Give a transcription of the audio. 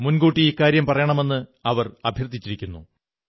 മുൻകൂട്ടി ഇക്കാര്യം പറയണമെന്ന് അവർ അഭ്യർഥിക്കുന്നു